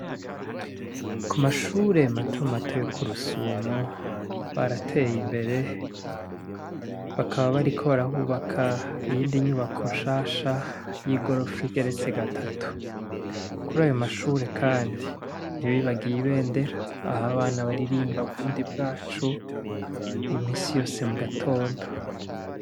Ku mashure mato mato yo kurusumo barateye imbere bakaba bariko barahubaka iyindi nyubako nshasha yigorofa igeretse gatatu kurayo mashure kandi ntibibagiye ibendera aho abana baririmba burundi bwacu iminsi yose mugatondo.